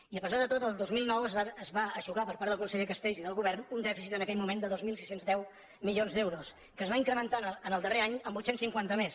i a pesar de tot el dos mil nou es va eixugar per part del conseller castells i del govern un dèficit en aquell moment de dos mil sis cents i deu milions d’euros que es va incrementar en el darrer any amb vuit cents i cinquanta més